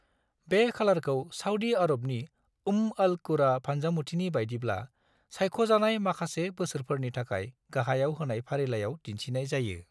बे खालारखौ साउदी आरबनि उम्म अल-कुरा फान्जामुथिनि बायदिब्ला सायख'जानाय माखासे बोसोरफोरनि थाखाय गाहाइयाव होनाय फारिलायाव दिन्थिनाय जायो।